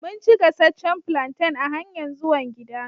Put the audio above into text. Mun ci gassacen plantain a hanyan zuwan gida.